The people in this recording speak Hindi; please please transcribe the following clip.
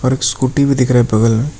और स्कूटी भी दिख रहा है बगल में--